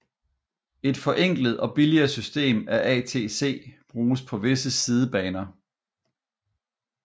Et forenklet og billigere system af ATC bruges på visse sidebaner